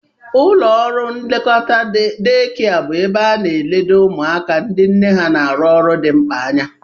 Ụlọ nlekọta dee kịa bụ ebe ana-eledo ụmụaka ndị nne ha na-arụ ọrụ dị mkpa anya